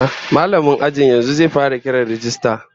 Mallamin ajin yanzu zai fara kiran rajista